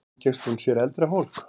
Umgengst hún sér eldra fólk?